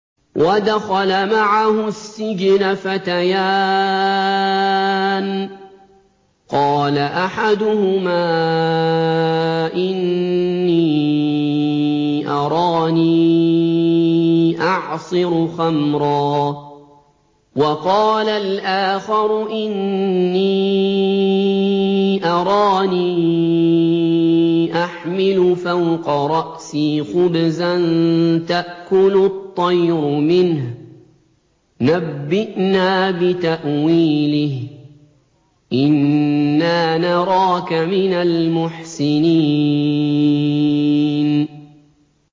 وَدَخَلَ مَعَهُ السِّجْنَ فَتَيَانِ ۖ قَالَ أَحَدُهُمَا إِنِّي أَرَانِي أَعْصِرُ خَمْرًا ۖ وَقَالَ الْآخَرُ إِنِّي أَرَانِي أَحْمِلُ فَوْقَ رَأْسِي خُبْزًا تَأْكُلُ الطَّيْرُ مِنْهُ ۖ نَبِّئْنَا بِتَأْوِيلِهِ ۖ إِنَّا نَرَاكَ مِنَ الْمُحْسِنِينَ